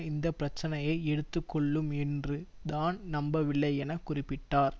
இந்த பிரச்சனையை எடுத்து கொள்ளும் என்று தான் நம்பவில்லை என குறிப்பிட்டார்